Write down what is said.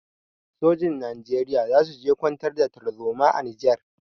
Sojin Najeriya za su je kwantar da tarzoma a Nijar.